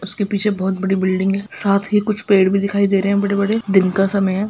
इसके पीछे बहुत बड़ी बिल्डिग है साथ ही कुछ पेड़ भी दिखाई दे रहे हैं बड़े-बड़े दिन का समय है |